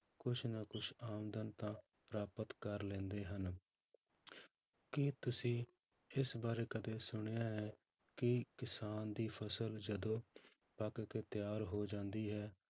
ਕੁਛ ਨਾ ਕੁਛ ਆਮਦਨ ਤਾਂ ਪ੍ਰਾਪਤ ਕਰ ਲੈਂਦੇ ਹਨ ਕੀ ਤੁਸੀਂ ਇਸ ਬਾਰੇ ਕਦੇ ਸੁਣਿਆ ਹੈ ਕਿ ਕਿਸਾਨ ਦੀ ਫਸਲ ਜਦੋਂ ਪੱਕ ਕੇ ਤਿਆਰ ਹੋ ਜਾਂਦੀ ਹੈ